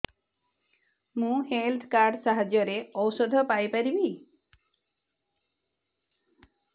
ମୁଁ health card ସାହାଯ୍ୟରେ ଔଷଧ ପାଇ ପାରିବି